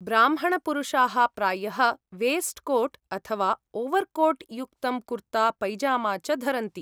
ब्राह्मणपुरुषाः प्रायः वेस्ट्कोट् अथवा ओवर्कोट् युक्तं कुर्ता, पैजामा च धरन्ति।